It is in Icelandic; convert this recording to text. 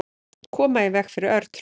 Koma í veg fyrir örtröð.